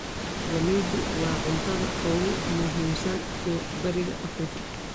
Galleydu waa cuntada ugu muhiimsan ee Bariga Afrika.